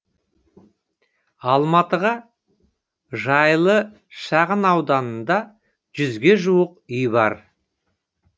алматыдағы жайлы шағынауданында жүзге жуық үй бар